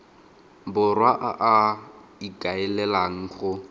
borwa a a ikaelelang go